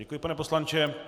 Děkuji, pane poslanče.